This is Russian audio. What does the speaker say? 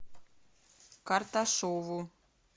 карташову